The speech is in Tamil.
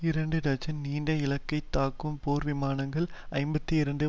இரண்டு டஜன் நீண்ட இலக்கை தாக்கும் போர் விமானங்கள் ஐம்பத்தி இரண்டு